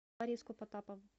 лариску потапову